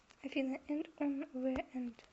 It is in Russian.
афина энд уан зе энд